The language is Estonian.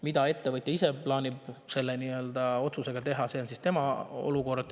Mida ettevõtja ise plaanib selle otsusega teha, see on tema.